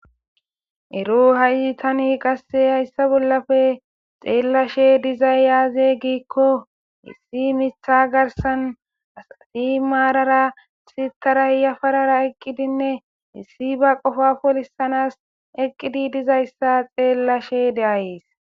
Ero hayi tani qase haysa bolape xelashe dizay aze gikko issi mitha garsan asati marara sitara yafarara eqidinne issi ba qofa polisanas eqqidi dizaysa xelashe de'ays.